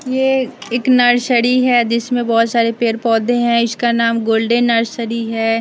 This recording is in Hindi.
ये एक नर्सरी है जिसमें बहुत सारे पेड़-पौधे हैं इसका नाम गोल्डन नर्सरी है।